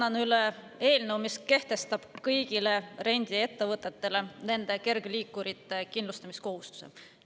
Annan üle eelnõu, mis kehtestab kõigile rendiettevõtetele nende kergliikurite kindlustamise kohustuse.